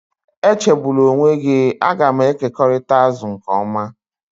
Echegbula onwe gị, a ga m ekekọrịta azụ nke ọma